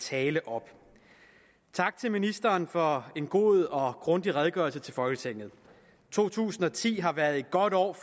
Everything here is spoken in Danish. tale op tak til ministeren for en god og grundig redegørelse til folketinget to tusind og ti har været et godt år